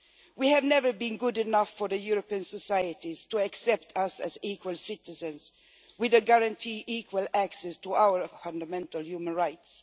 We have never been good enough for European societies to accept us as equal citizens with guaranteed equal access to our fundamental human rights.